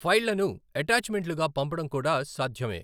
ఫైళ్లను ఎటాచ్మెంట్లుగా పంపడం కూడా సాధ్యమే.